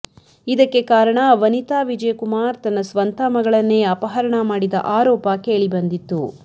ಇದಕ್ಕೆ ಕಾರಣ ವನಿತಾ ವಿಜಯಕುಮಾರ್ ತನ್ನ ಸ್ವಂತ ಮಗಳನ್ನೇ ಅಪಹರಣ ಮಾಡಿದ ಆರೋಪ ಕೇಳಿ ಬಂದಿತ್ತು